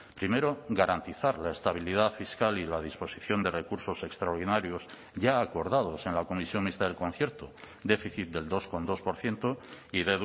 primero garantizar la estabilidad fiscal y la disposición de recursos extraordinarios ya acordados en la comisión mixta del concierto déficit del dos coma dos por ciento y